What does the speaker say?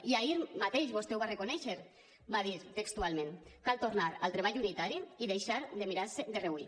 i ahir mateix vostè ho va reconèixer va dir textualment cal tornar al treball unitari i deixar de mirar se de reüll